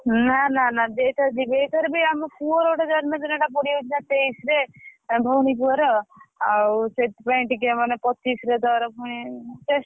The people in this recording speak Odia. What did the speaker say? ନା ନା ନା ଏଇଥର ଯିବି ଏଇଥରବି ଆମ ପୁଅ ର ଗୋଟା ଜନ୍ମଦିନ ଟା ପଡ଼ିଯାଉଛି ନା ତେଇଶରେ ଭଉଣୀ ପୁଅର ଆଉ ସେଇଥିପାଇଁ ଟିକେ ମାନେ ପଚିଶ ରେ ତାର ଫୁଣି ।